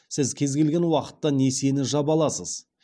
сіз кез келген уақытта несиені жаба аласыз